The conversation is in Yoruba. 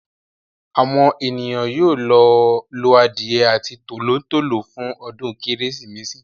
Àwọn ènìyàn yóò lo adìye àti tòló-tòló fún ọdún kérésìmesì.